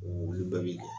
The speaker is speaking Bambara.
Olu bɛɛ bɛ kɛ